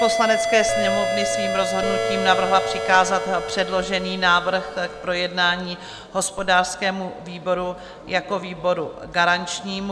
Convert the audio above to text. Poslanecké sněmovny svým rozhodnutím navrhla přikázat předložený návrh k projednání hospodářskému výboru jako výboru garančnímu.